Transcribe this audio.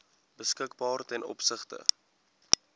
beskikbaar ten opsigte